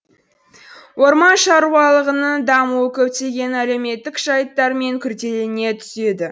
орман шаруашылығының дамуы көптеген әлеуметтік жайттармен күрделене түседі